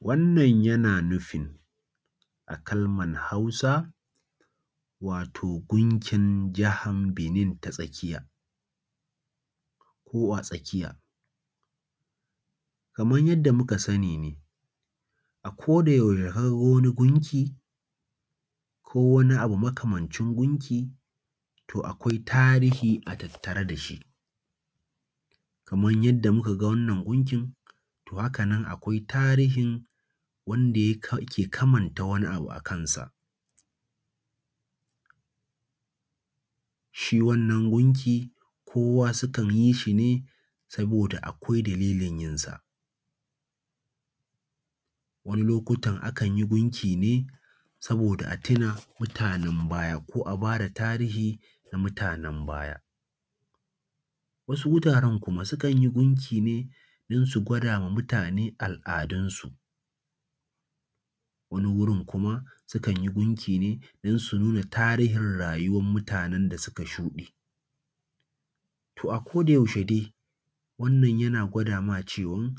Wannan yana nufin a Kalmar Hausa wato gunkin jahan Benin ta tsakiya ko a tsakiya, kamar yanda muka sani ne a ko da yaushe ka ga wani gunki ko wani abu makamancin gunki, to akwai tarihi a tattare da shi. Kamar yanda muka ga wannan gunkin, to haka nan akwai tarihin wanda ke kamanta wani abu akan sa. Shi wannan gunki kowa sukan yi shi ne saboda akwai dalilin yin sa. Wani lokutan akanyi sa ne saboda a tuna da mutanen baya ko a bada tarihihin na mutanen baya. wasu mutanen kuma sukanyi gunkine don kwada wa mutane aladunsu wasu kuma sukanyi gunki ne don su nuna tarihin rayuwar mutanen da suka shude, tor a ko da yaushe wannan yana kwada maka cewa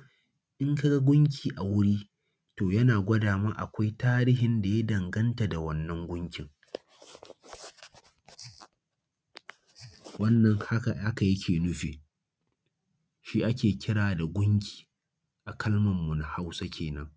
idan kaka gunki a wuri yana kwada maka da cewa akwai tarihin da ya danganta da wannan gunki. wannan haka yake nufi, shi ake kira gunki a kalmar mu na Hausa kenan.